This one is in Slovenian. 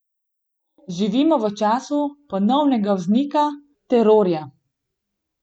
Živimo v času ponovnega vznika terorja.